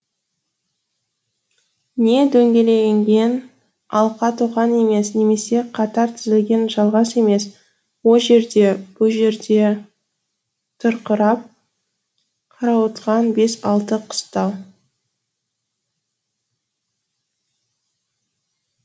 не дөңгеленген алқа тоқан емес немесе қатар тізілген жалғас емес о жерде бұ жерде тырқырап қарауытқан бес алты қыстау